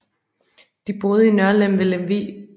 De boede i Nørlem ved Lemvig